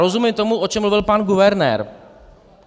Rozumím tomu, o čem mluvil pan guvernér.